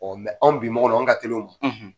anw bi mɔgɔw an ka teli o ma.